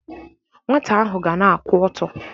Nwata ahụ ga na-akwụ ọtọ.